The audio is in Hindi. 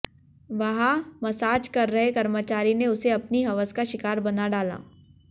वहां मसाज कर रहे कर्मचारी ने उसे अपनी हवस का शिकार बना डाला